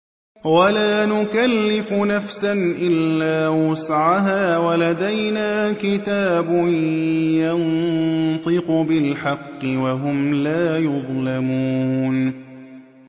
وَلَا نُكَلِّفُ نَفْسًا إِلَّا وُسْعَهَا ۖ وَلَدَيْنَا كِتَابٌ يَنطِقُ بِالْحَقِّ ۚ وَهُمْ لَا يُظْلَمُونَ